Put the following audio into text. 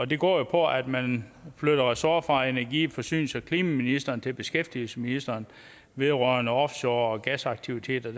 det går jo på at man flytter ressort fra energi forsynings og klimaministeren til beskæftigelsesministeren vedrørende offshore olie og gasaktiviteter